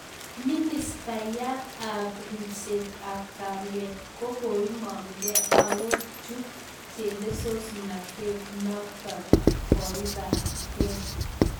Ministaiyat ab ribset ab kalyet ko koimang Kee Ako chup chelesonatet naotok koipar gee.